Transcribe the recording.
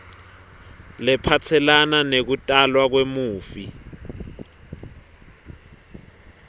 lephatselene nekutalwa kwemufi